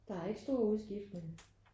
Der er ikke stor udskiftning